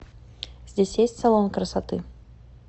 здесь есть салон красоты